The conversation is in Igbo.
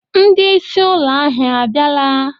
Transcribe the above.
Ndị isí ụlọ ahịa abịala?